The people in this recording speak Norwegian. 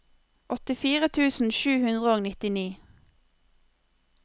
åttifire tusen sju hundre og nittini